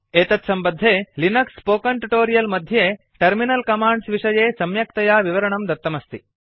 एतत्सम्बद्धे Linux spoken tutorial मध्ये terminal commands विषये सम्यक्तया विवरणम् दत्तम् अस्ति